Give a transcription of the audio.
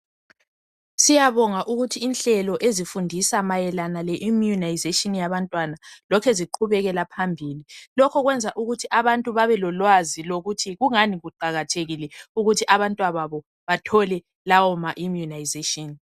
Siyabonga ukuthi inhlelo ezifundisa mayelana le"immunization" yabantwana lokhe ziqhubekela phambili. Lokho kwenza ukuthi abantu babelolwazi lokuthi kungani kuqakathekile ukuthi abantwa babo bathole lawo ma"immunization".